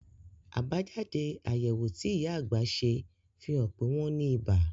Àbájáde àyẹ̀wò tí ìyá àgbà ṣe fi hàn pé wọ́n ní ibà